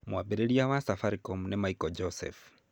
Mwambĩrĩria wa Safaricom nĩ Michael Joseph.